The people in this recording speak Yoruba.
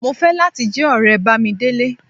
Mo ń fẹ́ láti jẹ́ ọ̀rẹ́ Bámidélé